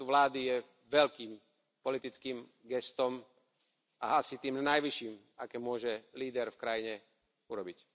predsedu vlády je veľkým politickým gestom a asi tým najvyšším, aké môže líder v krajine urobiť.